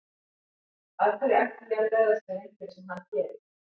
Af hverju ætti ég að bregðast við einhverju sem hann gerir.